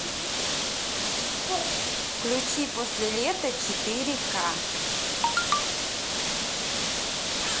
включи после лета четыре ка